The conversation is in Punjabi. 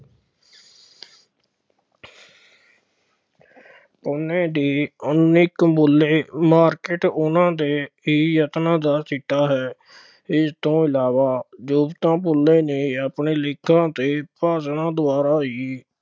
ਉਹਨਾ ਦੀ market ਉਹਨਾ ਦੇ ਹੀ ਯਤਨਾਂ ਦਾ ਸਿੱਟਾ ਹੈ, ਇਸ ਤੋਂ ਇਲਾਵਾ ਜੋਤੀਬਾ ਫੂਲੇ ਨੇ ਆਪਣੇ ਲੇਖਾਂ ਅਤੇ ਭਾਸ਼ਣਾਂ ਦੁਆਰਾ ਹੀ,